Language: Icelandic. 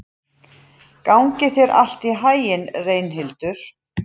Gangi þér allt í haginn, Reynhildur.